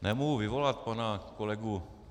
Nemohu vyvolat pana kolegu